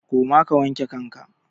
Koma ka wanke kanka!